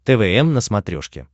твм на смотрешке